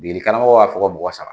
Degeli karamɔgɔ b'a fɔ ko mɔgɔ saba.